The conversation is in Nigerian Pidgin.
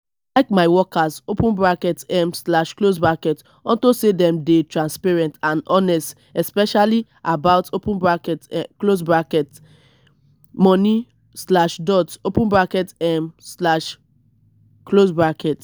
like my workers open bracket um slash close bracket unto say dem dey transparent and honest especially about open bracket close bracket money slash dot open bracket um slash close bracket